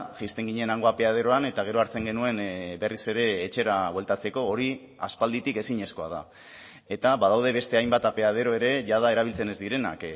jaisten ginen hango apeaderoan eta gero hartzen genuen berriz ere etxera bueltatzeko hori aspalditik ezinezkoa da eta badaude beste hainbat apeadero ere jada erabiltzen ez direnak